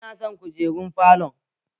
Ina son kujerun falon